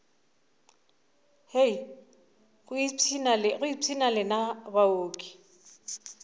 hei go ipshina lena baoki